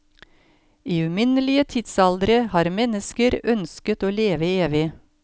I uminnelige tidsaldre har mennesker ønsket å leve evig.